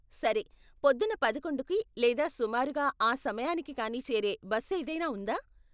సరే, పొద్దున్న పదకొండుకి లేదా సుమారుగా ఆ సమయానికి కానీ చేరే బస్ ఏదైనా ఉందా?